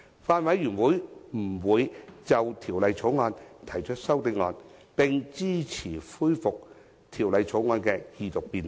法案委員會不會就《條例草案》提出修正案，並支持恢復《條例草案》的二讀辯論。